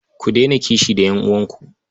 Ku daina kishi da ƴan'uwanku.